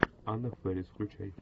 анна фэрис включай